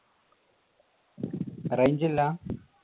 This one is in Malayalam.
range ഇല്ല?